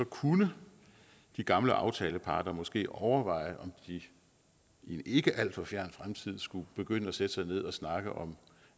kunne de gamle aftaleparter måske overveje om de i en ikke alt for fjern fremtid skulle begynde at sætte sig ned og snakke om